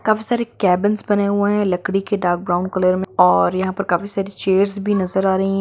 काफी सारे केबिन्स बने हुए हैं लकड़ी के डार्क ब्राउन कलर में और यहाँ पर काफी सारी चेयर्स भी नजर आ रही हैं।